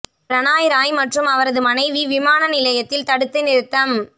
பிரணாய் ராய் மற்றும் அவரது மனைவி விமான நிலையத்தில் தடுத்து நிறுத்தம்